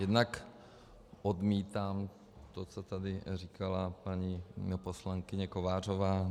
Jednak odmítám to, co tady říkala paní poslankyně Kovářová.